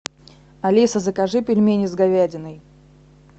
алиса закажи пельмени с говядиной